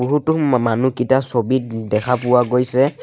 বহুতো মা মা মানুহকিতা ছবিত ই দেখা পোৱা গৈছে।